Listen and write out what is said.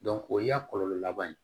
o y'a kɔlɔlɔ laban ye